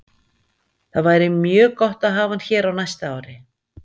Það væri mjög gott að hafa hann hér á næsta ári.